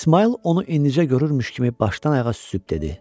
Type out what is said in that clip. İsmayıl onu indicə görürmüş kimi başdan ayağa süzüb dedi.